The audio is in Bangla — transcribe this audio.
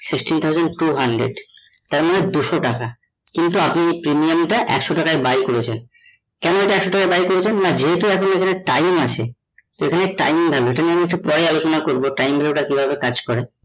sixteen thousand two hundred তার মানে দুশো টাকা কিন্তু আপনি premium টা একশো টাকায় buy করেছেন, কেন ইটা একশো টাকায় buy করেছেন না যেহুতু আপনি এখানে time আছে, এখানে time লাগে ইটা পরে আলোচনা করবো time value টা কিভাবে কাজ করে